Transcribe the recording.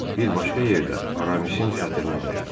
Bir başqa yerdə Aramisin xətrinə dəydi.